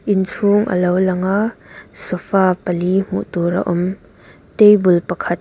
inchhung alo lang a sofa pali hmuh tur a awm table pakhat.